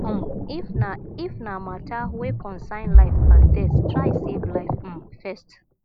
um if na if na mata wey concern life and death try save life um first